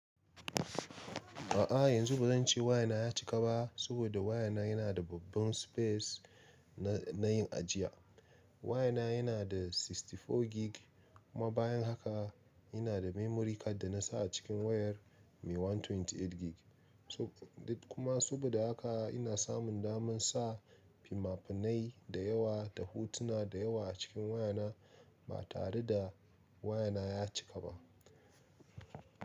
A'a, yanzu ba zan ce waya na ya cika ba saboda waya na yana da babban space na yin ajiya. Waya na yana da 64 Gig kuma bayan haka yana da Memory Card da na sa a cikin wayar mai 128 Gig. Kuma saboda haka ina samun daman sa fina-finai da yawa da hotuna da yawa a cikin waya na ba tare da waya na ya cika ba.